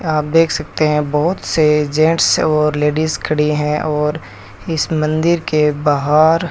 आप देख सकते हैं बहुत से जेंट्स और लेडीज खड़ी है और इस मंदिर के बाहर --